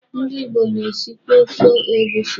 Ndị Igbo na-esikwa ofe egusi.